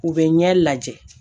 U bɛ ɲɛ lajɛ